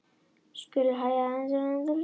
Skuldir hægja á endurreisninni